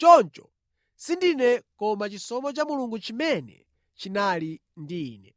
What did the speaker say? Choncho sindine koma chisomo cha Mulungu chimene chinali ndi ine.